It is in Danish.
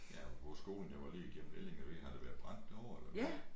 Ja apropos skolen jeg var lige igennem Ellinge jeg ved ikke har der været brændt derovre eller hvad